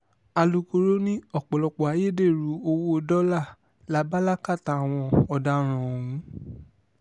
alūkkóró ni ọ̀pọ̀lọpọ̀ ayédèrú owó dọ́là la bá lákàtà àwọn ọ̀daràn ọ̀hún